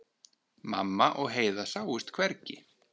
Mamma og Heiða sáust hvergi.